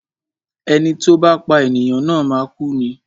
Ẹni tí ó bá pá ènìyàn na máa kú ni.